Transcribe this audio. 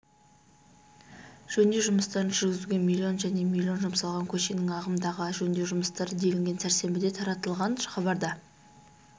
жөндеу жұмыстарын жүргізуге миллион және миллион жұмсалған көшенің ағымдағы жөндеу жұмыстары делінген сәрсенбіде таратылған хабарда